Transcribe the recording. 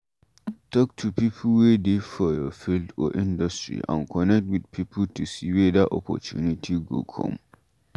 Talk to pipo wey dey for your field or industry and connect with pipo to see weda opportunity go come